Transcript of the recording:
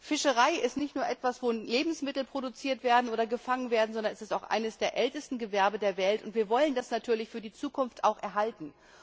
Fischerei ist nicht nur etwas, wo Lebensmittel produziert werden oder gefangen werden, sondern es ist auch eines der ältesten Gewerbe der Welt und wir wollen das natürlich für die Zukunft auch erhalten.